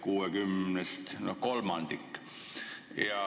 Kokku 69-st teeb see kolmandiku.